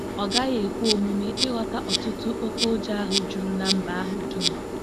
Ọ gaghị ekwe omume ịghọta ọ̀tụ̀tụ̀ oké ụjọ ahụ juru na mba ahụ dum......